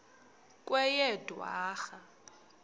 kweyedwarha